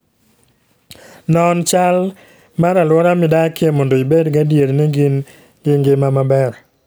Non chal mar alwora midakie mondo ibed gadier ni gin gi ngima maber.